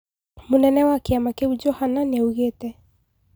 Mũnene wa kiama kiu Johana niaugete